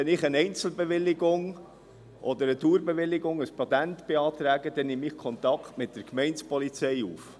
Wenn ich eine Einzelbewilligung oder eine Dauerbewilligung, ein Patent, beantrage, dann nehme ich Kontakt mit der Gemeindepolizei auf.